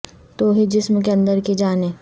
تو ہی جسم کے ا ندر کی جان ہے